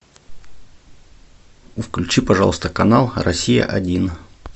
включи пожалуйста канал россия один